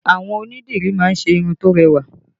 Àwọn onídìrí má ń ṣe irun tó rẹwà